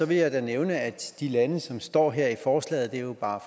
vil jeg da nævne at de lande som står her i forslaget jo bare